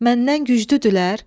Məndən güclüdürlər?